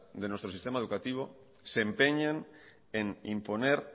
de nuestro sistema educativo se empeñen en imponer